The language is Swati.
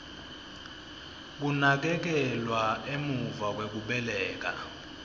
kunakekelwa emuva kwekubeleka